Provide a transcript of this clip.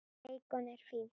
Beikon er fínt!